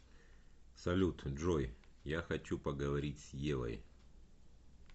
салют джой я хочу поговорить с евой